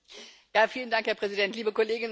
Herr Präsident, liebe Kolleginnen und Kollegen!